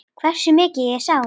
Hversu mikið ég sá?